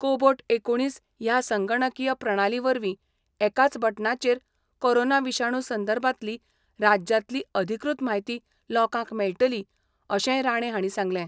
Cobot एकुणीस ह्या संगणकीय प्रणाली वरवी एकाच बटनाचेर कोरोना विषाणू संदर्भातली राज्यातली अधिकृत म्हायती लोकांक मेळटली, अशेंय राणे हांणी सांगले.